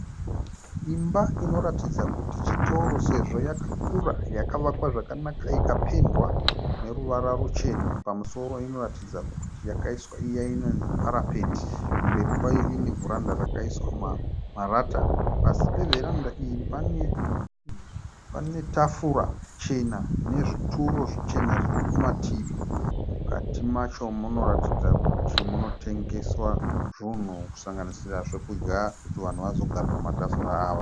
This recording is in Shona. Imba inoratidza kuti chitoro sezvo yakakura. Yakavakwa zvakanaka ikapendwa neruvara ruchena. Pamusoro inoratidza kuti yakaiswa iya inonzi parapeti. Kumberi kwayo ine vheranda rakaiswa marata. Pasi mevheranda mune tafura chena nezvituro zvichena kumativi. Mukati macho munoratidza kuti munotengeswa zvinhu kusanganisira zvokudya kuti vanhu vazogara pamatafura aya.